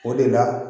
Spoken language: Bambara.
O de la